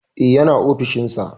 E, yana ofishin sa.